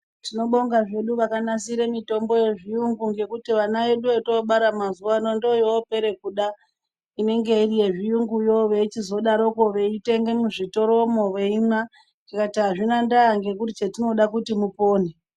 Tinobonga zvedu vakanasire mitombo yechiyungu ngekuti vana vedu votoobara mazuwa ano ndoyovopere kuda inenge iri yezvirunguyo veizodarokwo kutenge muzvitoromwo veimwa tikati azvina ndaa ngekuti chatinoda kuti mupone.